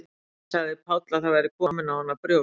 Um daginn sagði Páll að það væru komin á hana brjóst.